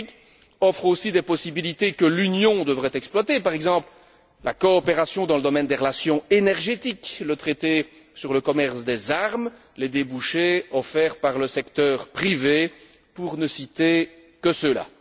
L'Afrique offre aussi des possibilités que l'Union devrait exploiter, par exemple la coopération dans le domaine des relations énergétiques, le traité sur le commerce des armes, les débouchés offerts par le secteur privé, pour ne citer que ceux là.